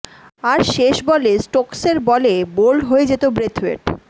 আর শেষ বলে স্টোকসের বলে বোল্ড হয়ে যেত ব্রেথওয়েট